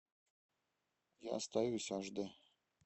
я остаюсь аш дэ